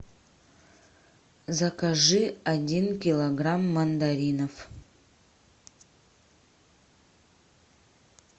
закажи один килограмм мандаринов